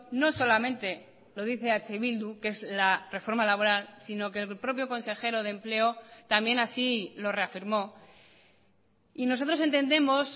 no solamente lo dice eh bildu que es la reforma laboral sino que el propio consejero de empleo también así lo reafirmó y nosotros entendemos